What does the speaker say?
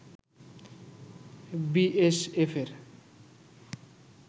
B এস এফের